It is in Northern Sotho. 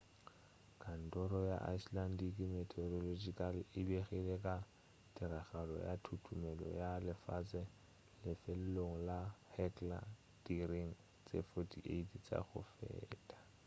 kantoro ya icelandic meteorological e begile ka tiragalo ya thuthumelo ya lefase lefelong la hekla diiring tše 48 tša go feta